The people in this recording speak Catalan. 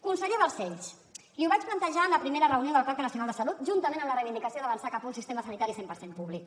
conseller balcells li ho vaig plantejar en la primera reunió del pacte nacional de salut juntament amb la reivindicació d’avançar cap a un sistema sanitari cent per cent públic